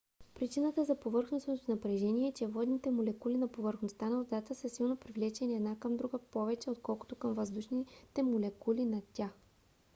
причината за повърхностното напрежение е че водните молекули на повърхността на водата са силно привлечени една към друга повече отколкото към въздушните молекули над тях